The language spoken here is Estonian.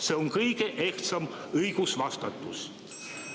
See on kõige ehtsam õigus.